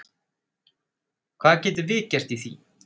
Hvað getum við gert í því?